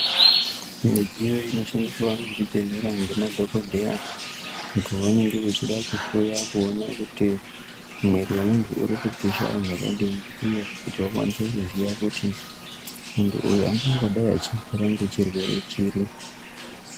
Midziyo inoshandiswa ngezvibhedhlera ngemadhokodheya pavanenge veida kuhloya kuti mwiri wemunthu uri kupisha zvakadini uye kuti vakwanise kuziya kuti munthu uyu anombodai achirwara ngechirwere chiri.